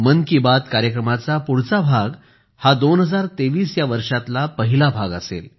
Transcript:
मन की बात कार्यक्रमाचा पुढचा भाग हा 2023 या वर्षातला पहिला भाग असेल